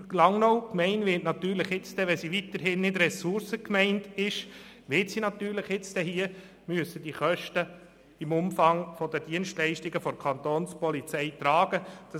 Und diese Gemeinde wird jetzt, wenn sie weiterhin Ressourcengemeinde ist, die Kosten für die Dienstleistungen der Kapo tragen müssen.